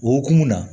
O hukumu na